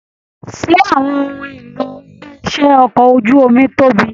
Ṣé àwọn ohùn ìlò ilé iṣẹ okọ̀ ojú omi tóbi?